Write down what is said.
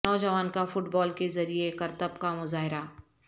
نوجوان کا football کے ذریعے کرتب کا مظاہرہ